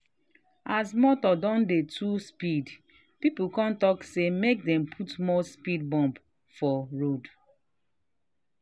as motor don too dey speed people come talk say make dem put more speed bump for road.